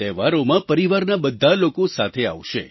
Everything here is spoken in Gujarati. તહેવારોમાં પરિવારના બધા લોકો સાથે આવશે